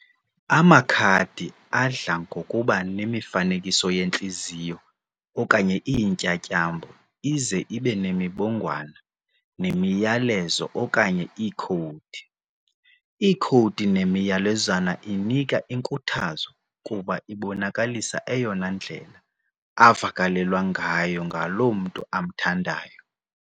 Amakhadi adla ngokuba nemifanekiso yeentliziyo okanye iintyatyambo ize ibenemibongwana, nemiyalezo, okanye iikhowudi. Iikhowudi nemiyalezwana inika inkuthazo kuba ibonakalisa eyona ndlela avakalelwa ngayo ngaloo mntu amthandayo.